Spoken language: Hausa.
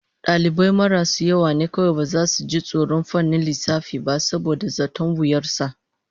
Dalibai marasu yawa ne kawai baza su ji tsoron fannin lissafi ba saboda zaton wuyar sa